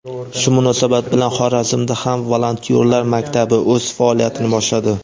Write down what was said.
Shu munosabat bilan Xorazmda ham "Volontyorlar maktabi" o‘z faoliyatini boshladi.